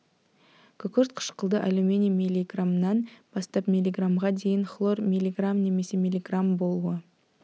күкірт қышқылды алюминий миллиграммнан бастап миллиграммға дейін хлор миллиграмм немесе миллиграмм болуы